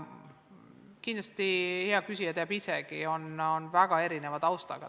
Kindlasti hea küsija teab isegi, et tudengeid on väga erineva taustaga.